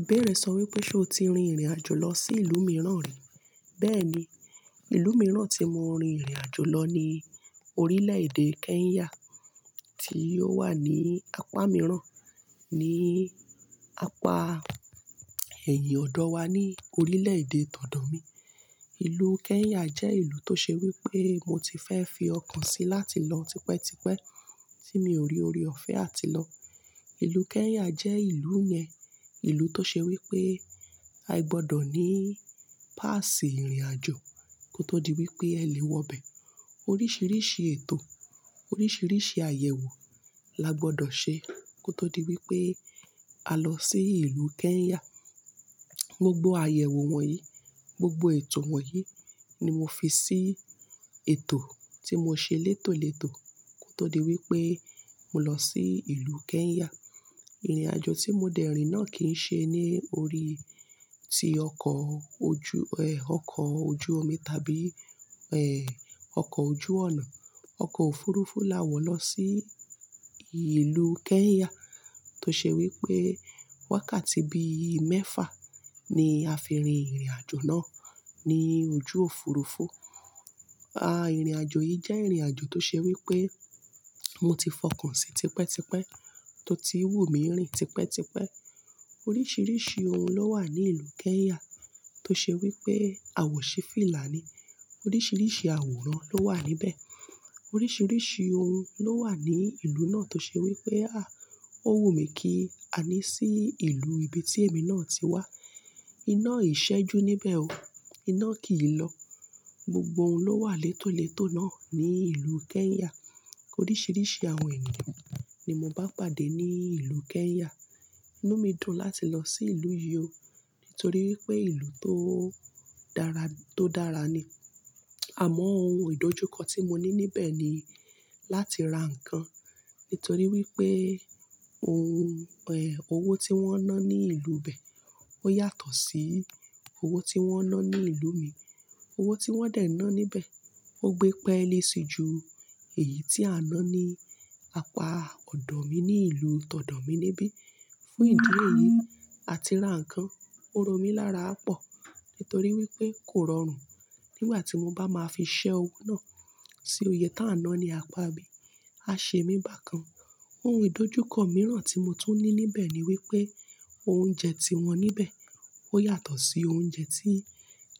Ìbéèrè sọ wípé, ṣe o ti rin ìrìn àjò lọ sí ìlú mìíràn rí? Bẹ́ẹ̀ni, ìlú mìíràn tí mo rin ìrìn àjò lọ ní orílè-èdè Kenya tí ó wà ní apá mìíràn, ní apá ẹ̀yìn ọ̀dọ̀ wa ní orílè-èdè tọ̀dọ̀ mi. Ìlú Kenya jẹ́ ìlú tó ṣe wípé mo ti fẹ́ fi ọkàn sí láti lọ tipẹ́tipẹ́ tí mi ò rí ori ọ̀fẹ́ àti lọ. Ìlú Kenya jẹ́ ìlú yẹn, ìlú tó ṣe wípé a gbọdọ̀ ní páàsì ìrìn àjò kó tó di wípé ẹ lè wọ bẹ̀. Oríṣiríṣi ètò, oríṣiríṣi àyẹ̀wò la gbọdọ̀ ṣe kó tó di wípé a lọ sí ìlú Kenya. Gbogbo àyẹ̀wò wọ̀nyí, gbogbo ètò wọ̀nyí ni mo fi sí ètò tí mo ṣe létòletò kó tó di wípé mo lọ sí ìlú Kenya. Ìrìn àjò tí mo dẹ̀ rìn náà kì í ṣe ní orí ti ọkọ̀ ojú, ọkọ̀ ojú omi tàbí, ọkọ̀ ojú ọ̀nà. Ọkọ̀ òfuurufú la wọ̀ lọ sí ìlú Kenya tó ṣe wípé wákàtí bí i mẹ́fà ni a fi rin ìrìn àjò náà ní ojú òfuurufú. A, ìrìn àjò yìí jẹ́ ìrìn àjò tó ṣe wípé mo ti fọkàn sí tipẹ́tipẹ́ tó ti wú mi rìn tipẹ́tipẹ́. Oríṣiríṣi ohun ló wà ní ìlú Kenya tó ṣe wípé a wọ̀ ṣe fìlà ní. Oríṣiríṣi àwòrán ló wà níbẹ̀. Oríṣiríṣi ohun ló wà ní ìlú náà tó ṣe wípé, à, ó wù mí kí a ní sí ìlú ibi tí èmi náà ti wá. Iná ìṣẹ́e ju níbẹ̀ o. Iná kì í lọ. Gbogbo ohun ló wà létòletò náà ní ìlú Kenya. Oríṣiríṣi àwọn ènìyàn ni mo bá pàdé ní ìlú Kenya. Inú mi dùn láti lọ sí ìlú yìí o nítorí wípé ìlú tó dára, tó dára ni. Àmọ́ ohun ìdojúkọ tí mo ní níbẹ̀ ni láti ra ǹkan nítorí wípé ohun, owó tí wọ́n ń ná ní ìlú bẹ̀ ó yàtọ̀ sí owó tí wọ́n ń ná ní ìlú mi. Owó tí wọ́n dẹ̀ ń ná níbẹ̀ ó gbé pẹ́ẹ́lé si ju èyí tí a ná ní apá ọ̀dọ̀ mi ní ìlú tọ̀dọ̀ mi níbí. Fún ìdí èyí, àti ra ǹkan ó rọ mí lára pọ̀ nítorí wípé kò rọrùn nígbà tí mo bá máa fi ṣẹ́ owó náà sí òye tá a ná ní apá bí. A ṣe mi bákan. Ohun ìdojúkọ mìíràn tí mo tún ní níbẹ̀ ni wípé oúnjẹ tí wọ́n níbẹ̀ ó yàtọ̀ sí oúnjẹ tí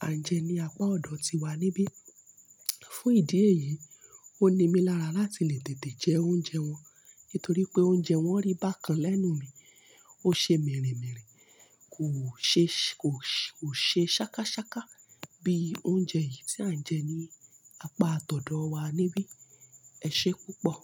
à ń jẹ ní apá ọ̀dọ̀ tiwa níbí. Fún ìdí èyí, ó ni mí lára láti lè tètè jẹ oúnjẹ wọn nítorí pé oúnjẹ wọn rí bákan lẹ́nu mi, ó ṣe mìírìmíìrì, kò ṣe, kò ṣe, ò ṣe sákásáká bí oúnjẹ yìí tí à ń jẹ ní apá tọ̀dọ̀ wa níbí. Ẹ ṣé púpọ̀.